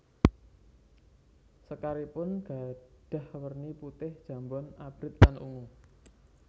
Sekaripun gadhah werni putih jambon abrit lan ungu